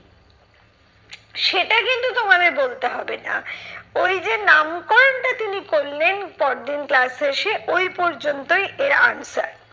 সেটা কিন্তু তোমাদের বলতে হবে না। ওই যে নামকরণটা তিনি করলেন পরদিন class এ এসে ওই পর্যন্তই এর answer